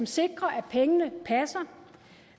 sikrer at pengene passer